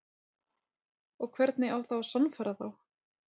Og hvernig á að sannfæra þá?